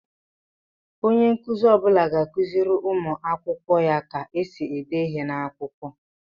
Onye nkụzi ọbula ga-akụziri ụmụ akwụkwọ ya ka esi ede ihe n'akwụkwọ.